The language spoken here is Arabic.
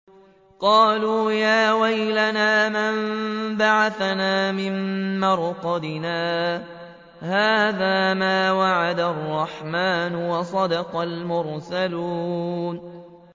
قَالُوا يَا وَيْلَنَا مَن بَعَثَنَا مِن مَّرْقَدِنَا ۜۗ هَٰذَا مَا وَعَدَ الرَّحْمَٰنُ وَصَدَقَ الْمُرْسَلُونَ